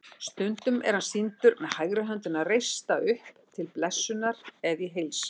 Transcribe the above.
Stundum er hann sýndur með hægri höndina reista upp til blessunar eða í heilsan.